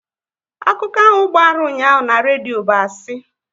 Akụkọ ahụ gbara ụnyaahụ na redio bụ asị